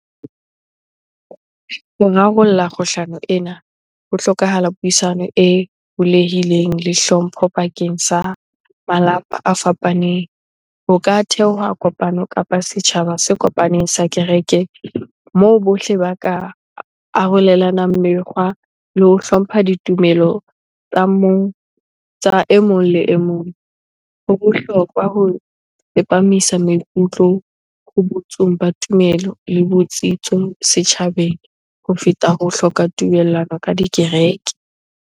Rarolla kgohlano ena, ho hlokahala puisano e bulehileng le hlompho bakeng sa malapa a fapaneng. Ho ka theoha kopano kapa setjhaba se kopaneng sa kerekeng moo bohle ba ka arolelanang mekgwa le ho hlompha ditumelo tsa mong, tsa e mong le e mong. Ho bohlokwa ho tsepamisa maikutlo ho ba tumelo le botsitso setjhabeng ho feta ho hloka tumellano ka dikereke